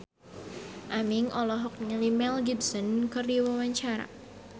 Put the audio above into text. Aming olohok ningali Mel Gibson keur diwawancara